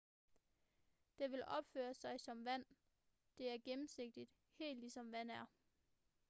det vil opføre sig som vand det er gennemsigtigt helt ligesom vand er